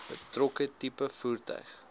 betrokke tipe voertuig